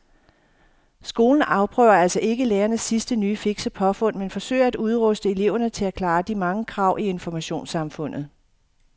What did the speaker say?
Skolen afprøver altså ikke lærernes sidste nye fikse påfund men forsøger at udruste eleverne til at klare de mange krav i informationssamfundet.